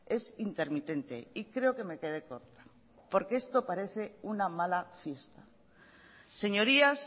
es intermitente y creo que me quedé corta porque esto parece una mala fiesta señorías